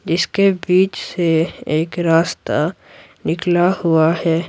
जिसके बीच से एक रास्ता निकला हुआ है।